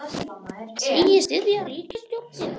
Segist styðja ríkisstjórnina